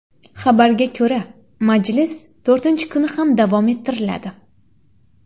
Xabarga ko‘ra, majlis to‘rtinchi kuni ham davom ettiriladi.